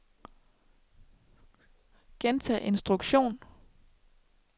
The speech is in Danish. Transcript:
gentag instruktion